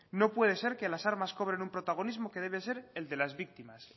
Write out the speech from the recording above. no puede ser que las armas cobren un protagonismo que debe ser el de las víctimas